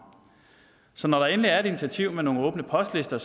så når der endelig er et initiativ med nogle åbne postlister